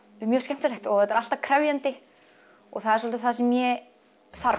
mjög skemmtilegt og þetta er alltaf krefjandi og það er svolítið það sem ég þarf